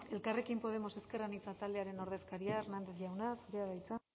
elkarrekin podemos ezker anitza taldearen ordezkaria hernández jauna zurea da hitza